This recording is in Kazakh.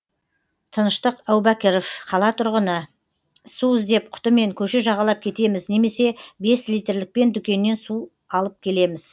тыныштық әубәкіров қала тұрғыны су іздеп құтымен көше жағалап кетеміз немесе бес литрлікпен дүкеннен су алып келеміз